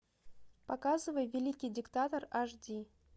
показывай великий диктатор аш ди